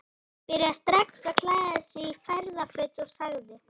Hann byrjaði strax að klæða sig í ferðaföt og sagði